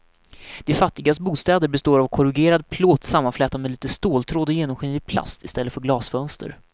De fattigas bostäder består av korrugerad plåt sammanflätad med lite ståltråd och genomskinlig plast i stället för glasfönster.